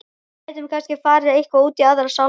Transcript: Við gætum kannski farið eitthvað út í Aðra sálma.